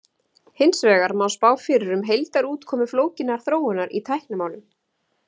hins vegar má spá fyrir um heildarútkomu flókinnar þróunar í tæknimálum